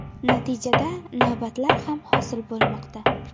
Natijada, navbatlar ham hosil bo‘lmoqda.